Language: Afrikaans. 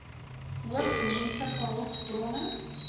hoof menslike hulpbronne